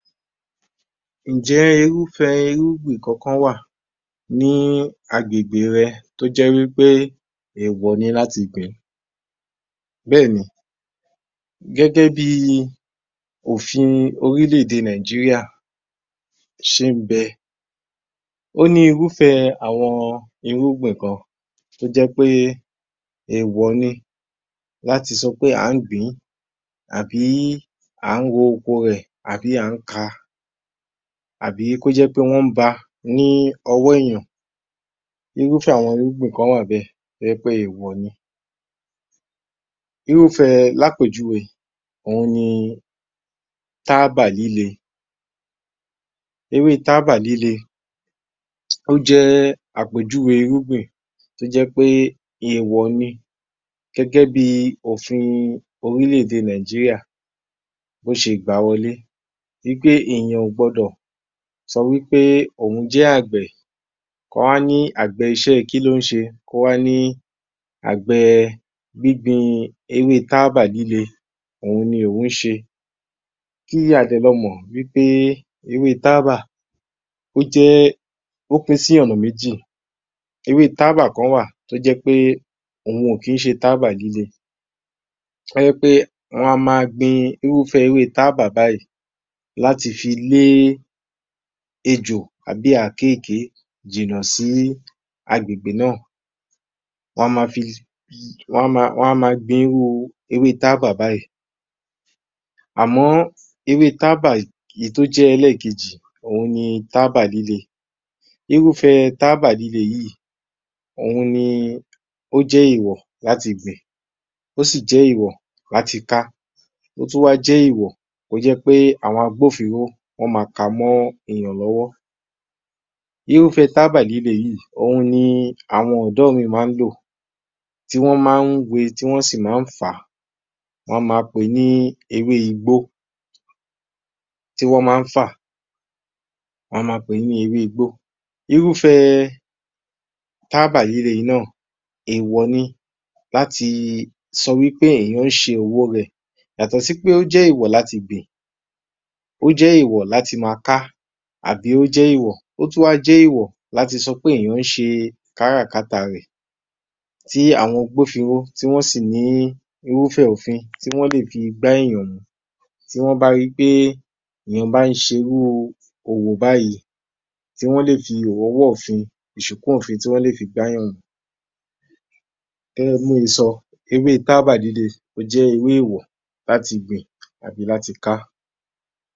18_ _yor_m_1143_AG00905_Olamide Ǹjẹ́ irúfẹ́ irúgbìn kankan wà ní agbègbè rẹ tó jẹ́ wípé èèwọ̀ ni láti gbìn-ín. Béèni, gẹ́gẹ́ bíi òfin orílèdè Nàìjíríà ṣe ń bẹ. Ó ní irúfẹ́ àwọn irúgbìn kan tó jẹ́ pé èèwọ̀ ni láti sọ pé à ń gbìn-ín, àbí à ń ro oko rẹ̀, àbí à ń ka, àbí kó jẹ́ pé wọ́n ba ní ọ́wọ́ èyàn. Irúfẹ́ àwọn irúgbìn kan wà bẹ́ẹ̀, tó jẹ́ pé èèwọ̀ ni. Irúfẹ́ẹ l'ápéjúwe òun ni táábà líle. Ewé táábà líle, ó jẹ́ ápéjúwe irúgbìn tó jẹ́ pé èèwọ̀ ni. Gẹ́gẹ́ bíi òfin orílèdè Nàìjíríà, bó ṣe gbàá wọlé wípé èyàn ò gbọdọ̀ sọ wípé òun jẹ́ àgbẹ̀, k'ọ́n wá ní àgbẹ̀ iṣẹ́ kín l'óń ṣe, kó wá ní àgbẹ̀ gbígbin ewé táábà líle òun ní òun ṣe. Kí àgbẹ̀ lọ mọ̀ pé ewé táábà pín sí ọ̀nà méjì. Ewé táábà kan wà tó jẹ́ pé òun ò kí ṣe táábà líle, tó jẹ́ pé wọn a ma gbin irú táábà báyìí láti lé ejò tàbí àkekèé jìnà sí agbègbè náà. Wọn a ma gbin irú táábà báyìí. Àmọ́ irú táábà tó jẹ́ elẹ́ẹ̀kejì òun ní táábà líle. Irúfẹ́ táábà líle yíì, òun ní ó jẹ́ èèwọ̀ láti gbìn, ó sì jẹ́ èèwọ̀ láti ka, ó tún wá jẹ́ èèwọ̀ tó jẹ́ pé àwọn agbófinró wọ́n ma ka mó èyàn lọ́wọ́. Irúfẹ́ táábà líle yíì, òun ní àwọn ọ̀dọ́ míì má lò tí wọ́n má ń we, tí wọ́n sì má ń fàá. Wọ́n á ma pè ní ewé igbó, tí wọ́n má ń fàá, wọ́n á ma pè ní ewé igbó. Irúfẹ́ táábà líle náà èèwọ̀ ni láti sọ wípé èyàn ń ṣe òwo rẹ̀. Yàtọ̀ sí pé ó jẹ́ èèwọ̀ láti gbìn, ó jẹ́ èèwọ̀ láti ma ká, ó tún wá jẹ́ èèwọ̀ láti sọ pé èyàn ń ṣe káràkátà rẹ̀. Tí àwọn agbófinró tí wọ́n sì ní àwọn irúfé òfin tí wọ́n lè fi gbá èyàn mú, tí wọ́n bá ri pé èyàn bá ń ṣe irú òwò báyìí. Tí wọ́n lè fi ọwọ́ òfin gbá tí wọ́n lè fi gbá èyàn mú. Gẹ́gẹ́ bí mo e sọ, ewé táábà líle ó jẹ́ ewé èèwọ̀ láti gbìn ati láti ká